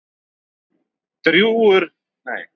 Dregur úr öryggi sjúklinga